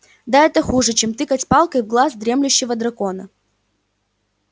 да это хуже чем тыкать палкой в глаз дремлющего дракона